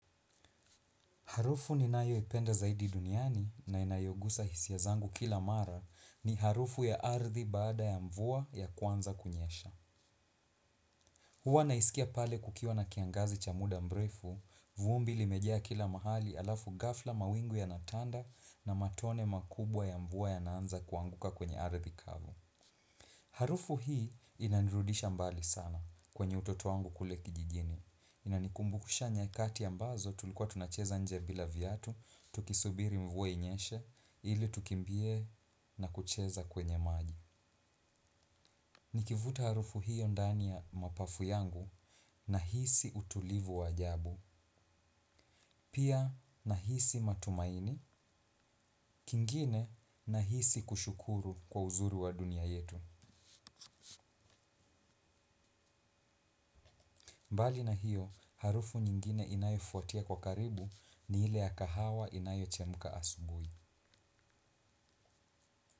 Harufu ninayo ipenda zaidi duniani na inayogusa hisia zangu kila mara ni harufu ya ardhi baada ya mvua ya kwanza kunyesha. Huwa naisikia pale kukiwa na kiangazi cha muda mrefu, vumbi limejaa kila mahali alafu gafla mawingu yanatanda na matone makubwa ya mvua yanaanza kuanguka kwenye ardhi kavu. Harufu hii inanirudisha mbali sana kwenye utoto wangu kule kijijini. Ina nikumbukusha nyakati ambazo tulikuwa tunacheza nje bila viatu, tukisubiri mvua inyeshe ili tukimbie na kucheza kwenye maji. Nikivuta harufu hiyo ndani ya mapafu yangu nahisi utulivu wa ajabu, pia nahisi matumaini, kingine nahisi kushukuru kwa uzuri wa dunia yetu. Mbali na hiyo, harufu nyingine inayo fuatia kwa karibu ni hile ya kahawa inayo chemuka asubui.